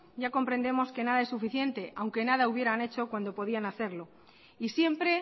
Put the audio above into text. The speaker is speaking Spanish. ya comprendemos que nada es suficiente aunque nada hubieran hecho cuando podían hacerlo y siempre